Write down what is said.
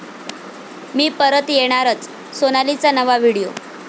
मी परत येणारच, सोनालीचा नवा व्हिडिओ